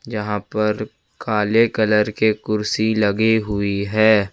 यहां पर काले कलर के कुर्सी लगी हुई है।